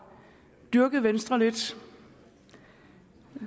dyrket venstre lidt